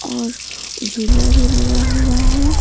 और झुला भी लगा हुआ है।